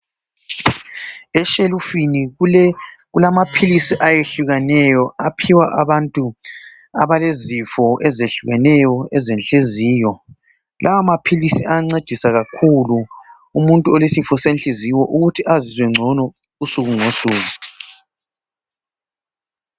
Eshelufini kulamaphilisi ayehlukaneyo aphiwa abantu abalezifo ezehlukeneyo ezenhliziyo. Lawa maphilisi ayancedisa kakhulu umuntu olesifo senhliziyo ukuthi azizwe ngcono usuku ngosuku.